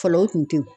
Fɔlɔ o kun tɛ ye